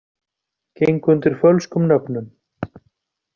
Gengu undir fölskum nöfnum